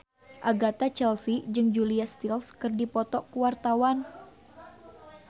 Agatha Chelsea jeung Julia Stiles keur dipoto ku wartawan